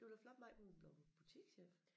Det var da flot Mai hun var bleven butikschef